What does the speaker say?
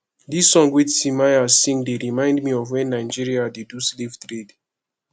this song wey timaya sing dey remind me of wen nigeria dey do slave trade